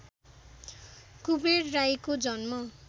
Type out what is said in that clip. कुबेर राईको जन्म